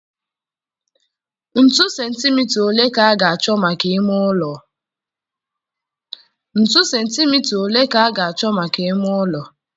Ntu sentimita ole ka a ga-achọ maka ime ụlọ?